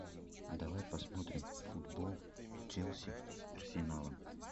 давай посмотрим футбол челси с арсеналом